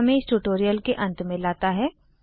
यह हमें इस ट्यूटोरियल के अंत में लाता है